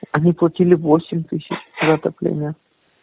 они платили восемь тысяч за отопление